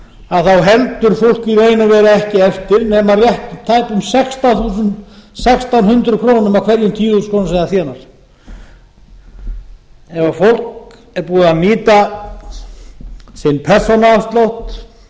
fólk í raun og veru ekki eftir nema rétt tæpum sextán hundruð krónur af hverjum tíu þúsund krónur sem það þénar ef fólk er búið að nýta sinn persónuafslátt